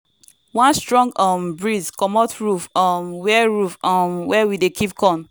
one strong um breeze comot roof um where roof um where we dey keep corn.